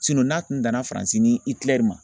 n'a tun danna Fanarsi ni Ikilɛri ma